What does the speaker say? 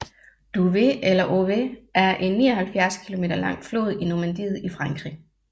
Douve eller Ouve er en 79 km lang flod i Normandiet i Frankrig